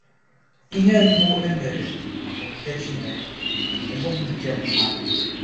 Ihe mbụ e mere bụ nke Chineke, ọ bụghị nke mmadụ.